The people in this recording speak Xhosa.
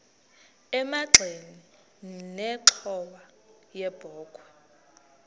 emagxeni nenxhowa yebokhwe